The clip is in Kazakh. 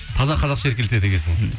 таза қазақша еркеледі екенсің